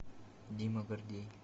дима гордей